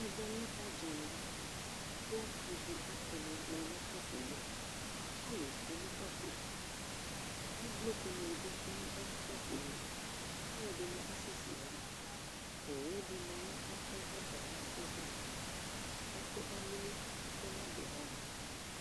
ɛvɛ lɛ ɔdzanɛ kʋ ivi atama nʋ ʋkpaƒɔɛ, alʋ twɛnʋ ʋkpaƒɔɛ, ʋvlʋkʋ dini bi twɛnʋ ɛƒɛ, alʋɛdini asɛsɛ yaha, ʋwʋdi manʋ ɛƒʋɛ kʋ asɛsɛ, ɛƒʋɛ alili ɛƒʋɛ nabʋɛ nʋ ɔmʋ